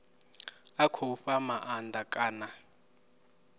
a khou fha maanda kana